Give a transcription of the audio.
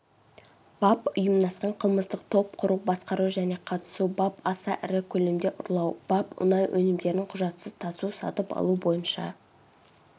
бап ұйымдасқан қылмыстық топ құру басқару және қатысу бап аса ірі көлемде ұрлау бап мұнай өнімдерін құжатсыз тасу сатып алу бойынша